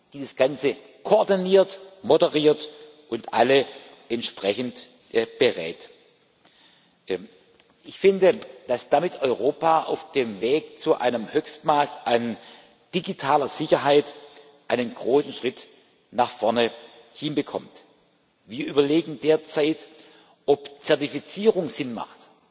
die das Ganze koordiniert, moderiert und alle entsprechend berät. Ich finde, dass Europa damit auf dem Weg zu einem Höchstmaß an digitaler Sicherheit einen großen Schritt nach vorne hinbekommt. Wir überlegen derzeit, ob Zertifizierung Sinn macht,